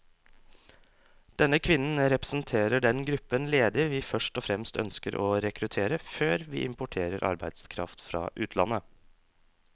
Denne kvinnen representerer den gruppen ledige vi først og fremst ønsker å rekruttere, før vi importerer arbeidskraft fra utlandet.